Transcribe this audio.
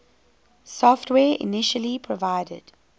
software initially provided